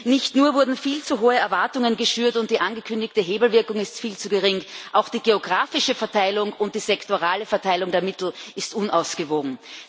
Nicht nur wurden viel zu hohe Erwartungen geschürt und ist die angekündigte Hebelwirkung viel zu gering, auch die geografische Verteilung und die sektorale Verteilung der Mittel ist unausgewogen.